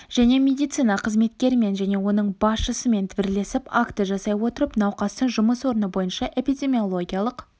және медицина қызметкерімен және оның басшысымен бірлесіп акті жасай отырып науқастың жұмыс орны бойынша эпидемиологиялық